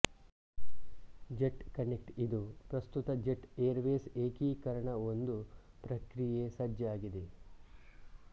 jet Connect ಇದು ಪ್ರಸ್ತುತ Jet Airways ಏಕೀಕರಣ ಒಂದು ಪ್ರಕ್ರಿಯೆ ಸಜ್ಜಾಗಿದೆ